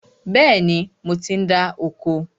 Bẹ́ẹ̀ni, mo ti ń dá oko